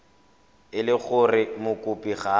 e le gore mokopi ga